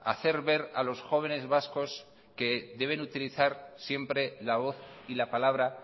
hacer ver a los jóvenes vascos que deben utilizar siempre la voz y la palabra